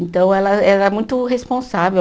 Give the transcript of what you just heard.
Então, ela era muito responsável.